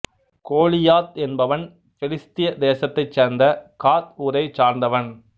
கோலியாத் என்பவன் பெலிஸ்திய தேசத்தைச் சேர்ந்த காத் ஊரைச் சார்ந்தவன்